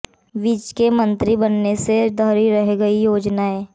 विज के मंत्री बनने से धरी रह गई योजनाएं